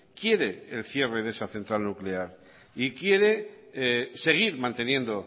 quiere el cierre de esta central nuclear y quiere seguir manteniendo